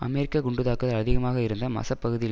அமெரிக்க குண்டு தாக்குதல் அதிகமாக இருந்த மசத் பகுதியில்